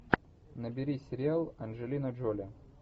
набери сериал анджелина джоли